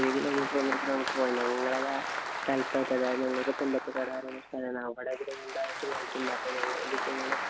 ഒരു kilometer ഒന്നര kilometer പോണം. ഞങ്ങടേത്